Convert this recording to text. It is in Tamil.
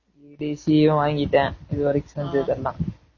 DC யும் வாங்கிட்டேன் இது வரைக்கும் செஞ்சதெல்லாம்